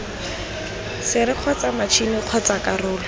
sere kgotsa matšhini kgotsa karolo